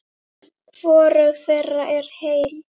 Hvorug þeirra er heil.